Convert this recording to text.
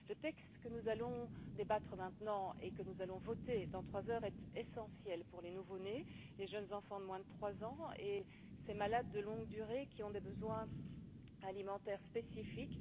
Le texte dont nous allons débattre maintenant et que nous allons voter dans trois heures est essentiel pour les nouveaux nés, les jeunes enfants de moins de trois ans et ces malades de longue durée qui ont des besoins alimentaires spécifiques.